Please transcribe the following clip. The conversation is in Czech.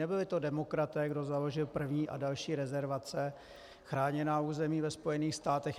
Nebyli to demokraté, kdo založil první a další rezervace, chráněná území ve Spojených státech.